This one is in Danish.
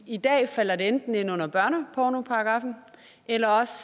i dag falder det enten ind under børnepornoparagraffen eller også